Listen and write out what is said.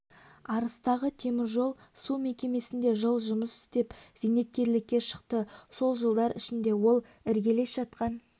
арыстағы теміржол су мекемесінде жыл жұмыс істеп зейнеткерлікке шықты сол жылдар ішінде ол іргелес жатқан